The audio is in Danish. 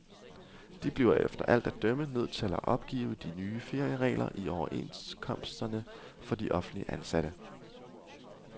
De bliver efter alt at dømme nødt til at opgive de nye ferieregler i overenskomsterne for offentligt ansatte.